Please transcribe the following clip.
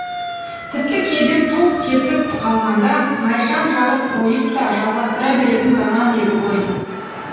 тіпті кейде ток кетіп қалғанда майшам жағып қойып та жалғастыра беретін заман еді ғой